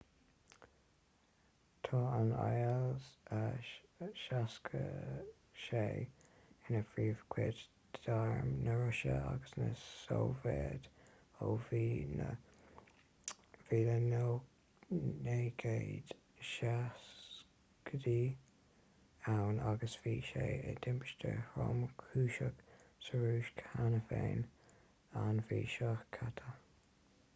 tá an il-76 ina phríomhchuid d'arm na rúise agus na sóivéide ó bhí na 1970idí ann agus bhí sé i dtimpiste thromchúiseach sa rúis cheana féin an mhí seo caite